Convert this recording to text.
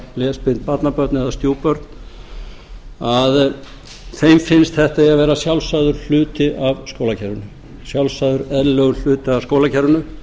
lesblind barnabörn eða stjúpbörn að þeim finnst að þetta eigi að vera sjálfsagður hluti af skólakerfinu sjálfsagður eðlilegur hluti af skólakerfinu